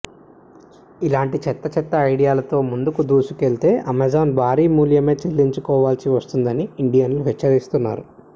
ఇలాంటి చెత్త చెత్త ఐడియాలతో ముందుకు దూసుకెళ్తే అమెజాన్ భారీ మూల్యమే చెల్లించుకోవాల్సి వస్తుందని ఇండియన్లు హెచ్చరిస్తున్నారు